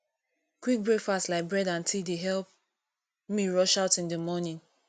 quick breakfast like bread and tea dey help me rush out in the morning